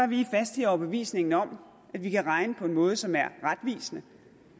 vi faste i overbevisningen om at vi kan regne på en måde som er retvisende